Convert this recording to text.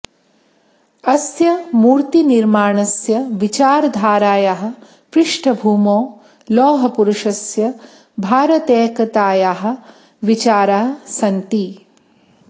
अस्य मूर्तिनिर्माणस्य विचारधारायाः पृष्ठभूमौ लोहपुरुषस्य भारतैकतायाः विचाराः सन्ति